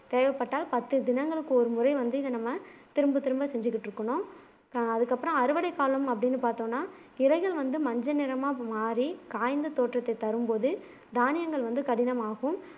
தேவைப்பட்டால் பத்து தினங்களுக்கு ஒரு முறை வந்து இத நம்ம திரும்ப திரும்ப செஞ்சுக்கிட்டு இருக்கனும் ஆஹ் அதுக்கப்புறம் அறுவடை காலம் அப்பிடினு பாத்தோம்னா இலைகள் வந்து மஞ்சள் நிறமா மாறி காய்ந்த தோற்றத்தை தரும்போது தானியங்கள் வந்து கடினமாகும்